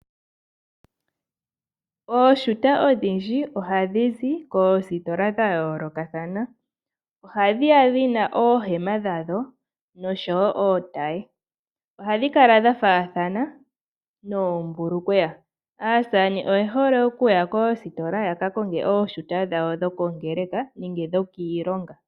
Ooshuta odhindji oha dhi zi koositola dha yoolokathana. Oha dhi ya dhi na oohema dha dho, osho woo ootaye. Ohadhi kala dha faathana noombulukweya. Aasamane oye hole oku ya koositola ya ka konge ooshuta dhawo dhokongeleka nenge dhokiilonga.